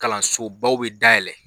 Kalanso baw bɛ dayɛlɛn